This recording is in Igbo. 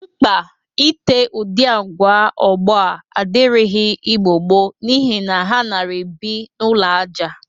Mkpa ite udị agwa ọgbọ a adịrịghị Igbo gboo n'ihi ha nara ebi n'ụlọ aja